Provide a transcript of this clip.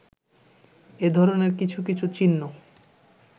এ-ধরনের কিছু কিছু চিহ্ন